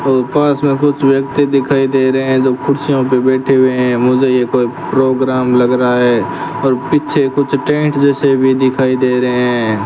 पास में कुछ व्यक्ति दिखाई दे रहे हैं जो कुर्सियों पे बैठे हुए हैं मुझे ये कोई प्रोग्राम लग रहा है और पीछे कुछ टेंट जैसे भी दिखाई दे रहे हैं।